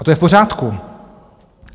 A to je v pořádku.